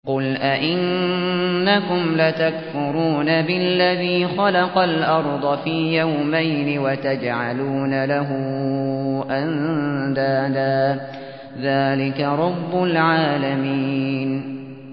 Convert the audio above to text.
۞ قُلْ أَئِنَّكُمْ لَتَكْفُرُونَ بِالَّذِي خَلَقَ الْأَرْضَ فِي يَوْمَيْنِ وَتَجْعَلُونَ لَهُ أَندَادًا ۚ ذَٰلِكَ رَبُّ الْعَالَمِينَ